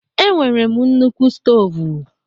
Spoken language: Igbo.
E nwere m nnukwu stovu